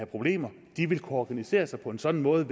problemer vil kunne organisere sig på en sådan måde